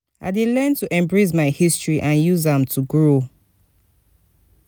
i dey learn to embrace my history and use am to grow.